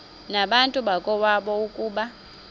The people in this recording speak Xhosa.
nabantu bakowabo ukuba